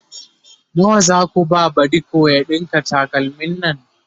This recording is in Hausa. nawa Zaku ba badiko ya ɗinka takalmin Nan?